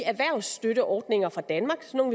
erhvervsstøtteordninger fra danmark sådan